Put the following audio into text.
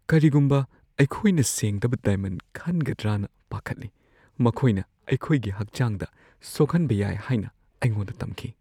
ꯀꯔꯤꯒꯨꯝꯕ ꯑꯩꯈꯣꯏꯅ ꯁꯦꯡꯗꯕ ꯗꯥꯏꯃꯟ ꯈꯟꯒꯗ꯭ꯔꯅ ꯄꯥꯈꯠꯂꯤ꯫ ꯃꯈꯣꯏꯅ ꯑꯩꯈꯣꯏꯒꯤ ꯍꯛꯆꯥꯡꯗ ꯁꯣꯛꯍꯟꯕ ꯌꯥꯏ ꯍꯥꯏꯅ ꯑꯩꯉꯣꯟꯗ ꯇꯝꯈꯤ ꯫